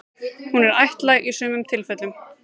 Hún er ættlæg í sumum tilfellum.